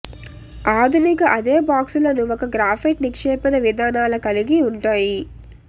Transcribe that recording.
ఆధునిక అదే బాక్సులను ఒక గ్రాఫైట్ నిక్షేపణ విధానాల కలిగి ఉంటాయి